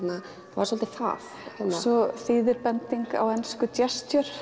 það var svolítið það og svo þýðir bending á ensku